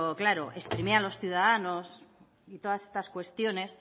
claro exprimir a los ciudadanos y todas estas cuestiones